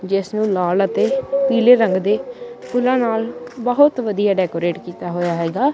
ਜਿੱਸ ਨੇਂ ਲਾਲ ਅਤੇ ਪੀਲੇ ਰੰਗ ਦੇ ਫੁੱਲਾਂ ਨਾਲ ਬਹੁਤ ਵਧੀਆ ਡੈਕੋਰੇਟ ਕੀਤਾ ਹੋਇਆ ਹੈਗਾ।